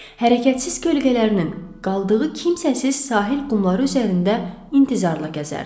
hərəkətsiz kölgələrinin qaldığı kimsəsiz sahil qumları üzərində intizarla gəzərdi.